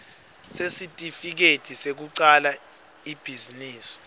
sesitifiketi sekucala ibhizinisi